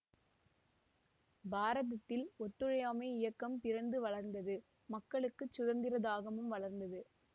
பாரதத்தில் ஒத்துழையாமை இயக்கம் பிறந்து வளர்ந்தது மக்களுக்குச் சுதந்திர தாகமும் வளர்ந்தது